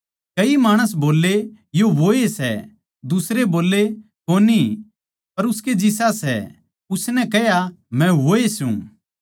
कई माणस बोल्ले यो वोए सै दुसरे बोल्ले कोनी पर उसकै जिसा सै उसनै कह्या मै वोए सूं